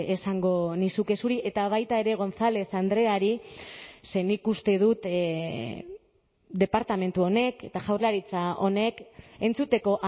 esango nizuke zuri eta baita ere gonzález andreari ze nik uste dut departamentu honek eta jaurlaritza honek entzuteko